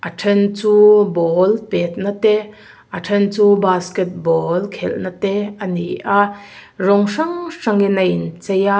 a ṭhen chu ball pêtna te a ṭhen chu basketball khelna te ani a rawng hrang hrang in a in chei a.